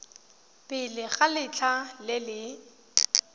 pele ga letlha le le